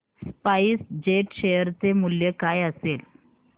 spice jet share चे मूल्य काय असेल